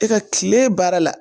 E ka tile baara la